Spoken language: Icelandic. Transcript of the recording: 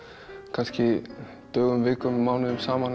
kannski dögum vikum mánuðum saman